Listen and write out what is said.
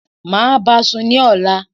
Máa báasùn ní ọ̀la